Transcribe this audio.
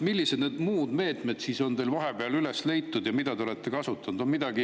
Millised muud meetmed siis on teil vahepeal üles leitud ja mida te olete kasutanud?